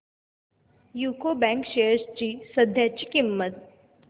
UCO bank shares ची सध्याची किंमत